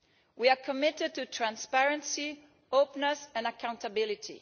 We are committed to transparency, openness and accountability.